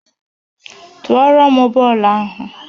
Tụọrọ m bọọlụ ahụ!